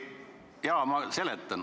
Jaa, ma seletan.